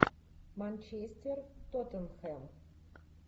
манчестер тоттенхэм